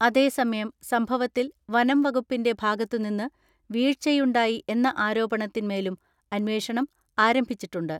അതേസമയം സംഭവത്തിൽ വനംവകുപ്പിന്റെ ഭാഗത്തുനിന്ന് വീഴ്ചയുണ്ടായി എന്ന ആരോപണത്തിന്മേലും അന്വേഷണം ആരംഭിച്ചിട്ടുണ്ട്.